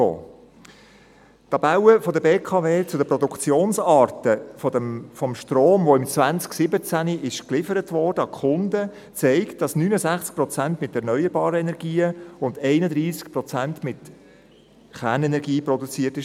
Die Tabelle der BKW zu den Produktionsarten von Storm, welcher im Jahr 2017 an die Kunden geliefert wurde, zeigt, dass 69 Prozent mit erneuerbaren Energien und 31 Prozent mit Kernenergie produziert wurde.